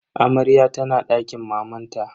Amaryar tana dakin mamanta.